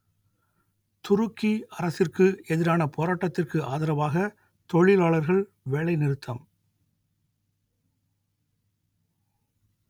துருக்கி அரசிற்கு எதிரான போராட்டத்திற்கு ஆதரவாக தொழிலாளர்கள் வேலைநிறுத்தம்